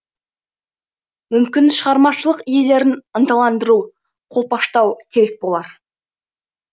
мүмкін шығармашылық иелерін ынталандыру қолпаштау керек болар